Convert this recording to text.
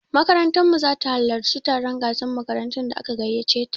Makarantar mu zata halarci taron gasan makarantun da aka gaiyace ta